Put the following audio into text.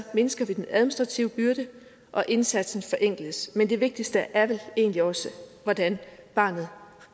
mindsker vi den administrative byrde og indsatsen forenkles men det vigtigste er vel egentlig også hvordan barnet